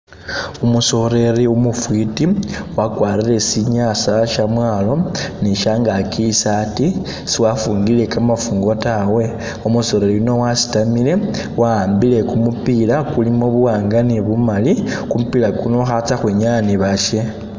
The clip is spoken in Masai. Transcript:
Umusoleri umufiti wakwarile sinyasa shamwalo ni shangaki isati siwafungile kamafungu tawe umusoleri yuno wasitaamile waambile kumupila kulimo buwanga ni bumali kumupila kuno khatsa khwinyaa ni bashe